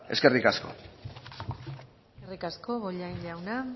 eskerrik asko eskerrik asko bollain jauna